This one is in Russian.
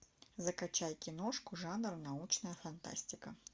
закачай киношку жанр научная фантастика